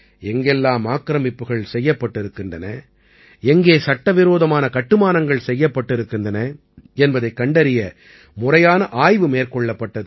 எங்கெல்லாம் ஆக்கிரமிப்புகள் செய்யப்பட்டிருக்கின்றன எங்கே சட்டவிரோதமான கட்டுமானங்கள் செய்யப்பட்டிருக்கின்றன என்பதைக் கண்டறிய முறையான ஆய்வு மேற்கொள்ளப்பட்டது